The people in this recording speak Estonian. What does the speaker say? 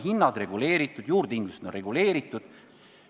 Meil on hinnad reguleeritud, juurdehindlused on reguleeritud.